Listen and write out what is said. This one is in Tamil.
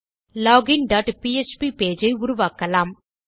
லோகின் டாட் பிஎச்பி பேஜ் ஐ உருவாக்கலாம்